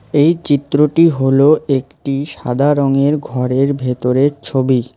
এই চিত্রটি হলো একটি সাদা রঙের ঘরের ভেতরে ছবি।